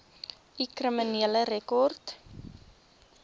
u kriminele rekord